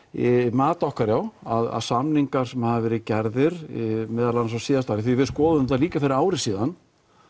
mat okkar já að samningar sem hafa verið gerðir meðal annars á síðasta ári því við skoðuðum þetta líka fyrir ári síðan